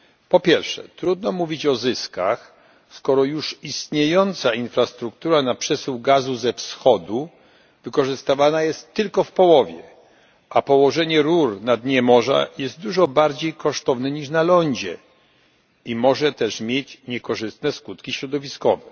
Po pierwsze trudno mówić o zyskach, skoro już istniejąca infrastruktura na przesył gazu ze wschodu wykorzystywana jest tylko w połowie, a położenie rur na dnie morza jest dużo bardziej kosztowne niż na lądzie i może też mieć niekorzystne skutki środowiskowe.